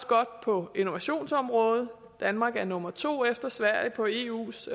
godt på innovationsområdet danmark er nummer to efter sverige på eus